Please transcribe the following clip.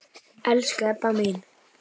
Elsku Ebba mín.